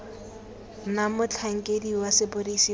na motlhankedi wa sepodisi wa